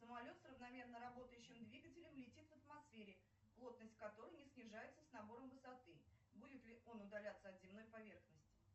самолет с равномерно работающим двигателем летит в атмосфере плотность которой не снижается с набором высоты будет ли он удаляться от земной поверхности